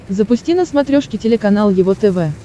запусти на смотрешке телеканал его тв